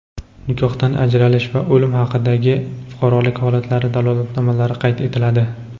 nikohdan ajralish va o‘lim haqidagi fuqarolik holatlari dalolatnomalari qayd etiladi.